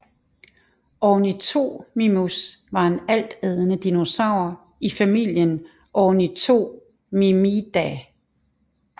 Ornithomimus var en altædende dinosaur i familien Ornithomimidae